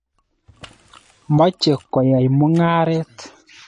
Moche koyai mung'aret.